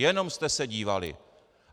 Jenom jste se dívali.